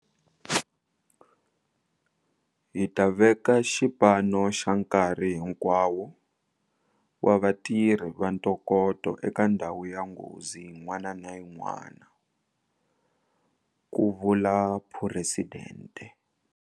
Hi ta veka xipano xa nkarhi hinkwawo wa vatirhi va ntokoto eka ndhawu ya nghozi yin'wana na yin'wana, ku vula Phuresidente.